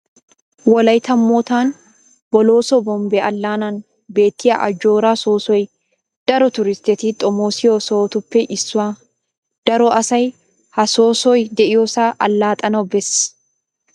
Wolaytta moottan Bolooso Bombbe Allaannan beettiya ajjooraa soossoy daro turistteti xomoosiyo sohotuppe issuwaa. Daro asay ha soossoy de'iyosaa allaxxanawu bees.